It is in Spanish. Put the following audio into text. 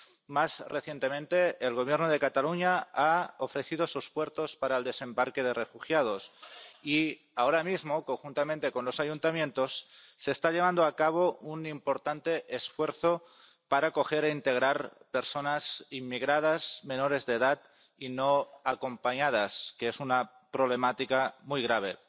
Más recientemente, el Gobierno de Cataluña ha ofrecido sus puertos para el desembarque de refugiados, y ahora mismo, conjuntamente con los ayuntamientos, se está llevando a cabo un importante esfuerzo para acoger e integrar a personas inmigrantes menores de edad y no acompañadas, que representan una problemática muy grave.